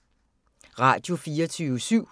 Radio24syv